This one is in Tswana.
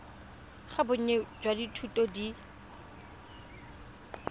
ga bonnye jwa dithuto di